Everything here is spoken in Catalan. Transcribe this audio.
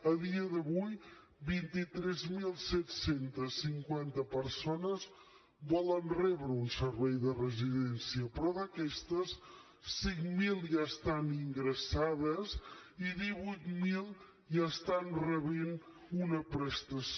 a dia d’avui vint tres mil set cents i cinquanta persones volen rebre un servei de residència però d’aquestes cinc mil ja estan ingressades i divuit mil ja estan rebent una prestació